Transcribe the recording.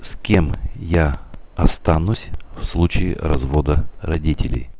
с кем я останусь в случае развода родителей